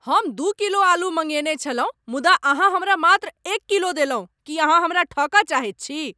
हम दू किलो आलू मँगेने छलहुँ मुदा अहाँ हमरा मात्र एक किलो देलहुँ! की अहाँ हमरा ठकबाक चाहैत छी?